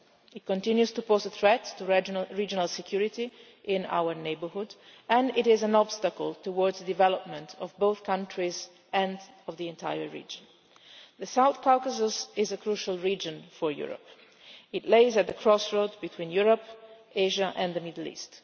It continues to pose a threat to regional security in our neighbourhood, and it is an obstacle towards the development of both countries and of the entire region. The South Caucuses is a crucial region for Europe. It lies at the crossroads between Europe, Asia and the Middle East.